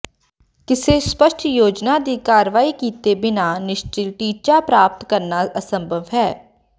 ਕਿਸੇ ਸਪੱਸ਼ਟ ਯੋਜਨਾ ਦੀ ਕਾਰਵਾਈ ਕੀਤੇ ਬਿਨਾਂ ਨਿਸ਼ਚਤ ਟੀਚਾ ਪ੍ਰਾਪਤ ਕਰਨਾ ਅਸੰਭਵ ਹੈ